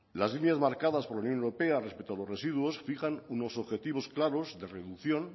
las líneas marcadas por la unión europea respecto a los residuos fijan unos objetivos claros de reducción